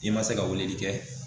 I ma se ka weleli kɛ